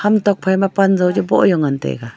tokphai ma pan jauchu bo chu ngan taiga.